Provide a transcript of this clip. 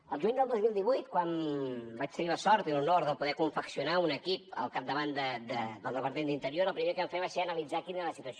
el juny del dos mil divuit quan vaig tenir la sort i l’honor de poder confeccionar un equip al capdavant del departament d’interior el primer que vam fer va ser analitzar quina era la situació